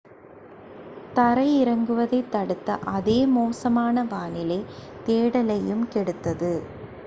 தரை இறங்குவதைத் தடுத்த அதே மோசமான வானிலை தேடலையும் கெடுத்தது